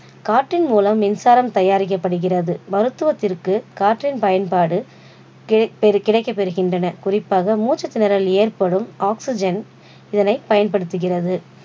காற்றின் முலம் மின்சாரம் தயாரிக்கப்படுகிறது மருத்துவத்திற்கு காற்றின் பயன்பாடு கேக்க~ கிடைக்கப்படுகின்றன. குறிப்பாக மூச்சு திணறல் ஏற்படும் oxygen இதனை பயன்படுதுகிறது